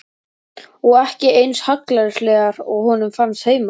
Og ekki eins hallærislegar og honum fannst heima.